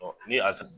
Ni a s